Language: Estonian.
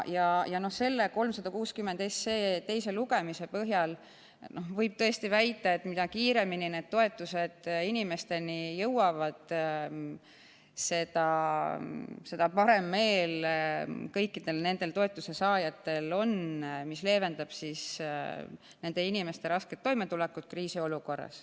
Ja 360 SE teise lugemise põhjal võib tõesti väita, et mida kiiremini toetused inimesteni jõuavad, seda parem meel kõikidel toetusesaajatel on, sest see leevendab nende inimeste rasket toimetulekut kriisiolukorras.